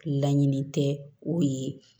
Laɲini tɛ o ye